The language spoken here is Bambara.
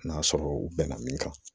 N'a sɔrɔ u bɛnna min kan